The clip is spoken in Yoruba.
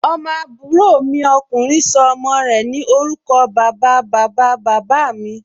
Ọmọ àbúrò mi ọkùnrin sọ ọmọ rẹ̀ ní orúkọ bàba, bàba, bàbá mí